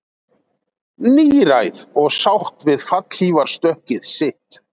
Níræð og sátt við fallhlífarstökkið sitt